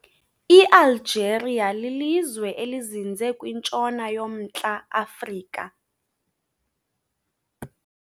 I-Algeria lilizwe elizinze kwintshona yomNtla-Afrika.